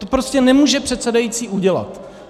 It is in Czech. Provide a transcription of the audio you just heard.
To prostě nemůže předsedající udělat.